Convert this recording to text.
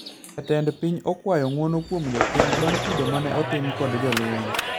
Jatend piny okwayo ng`uono kuom jopiny bang` kido mane otim kod jolweny